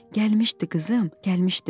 Gəlmişdi qızım, gəlmişdi.